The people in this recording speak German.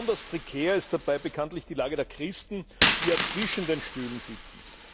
Besonders prekär ist dabei bekanntlich die Lage der Christen, die ja zwischen den Stühlen sitzen.